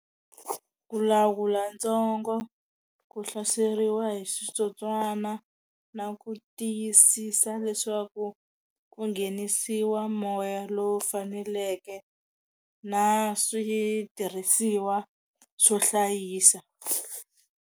Ku lawula ntsongo ku hlaseriwa hi switsotswana na ku tiyisisa leswaku ku nghenisiwa moya lowu faneleke na switirhisiwa swo hlayisa.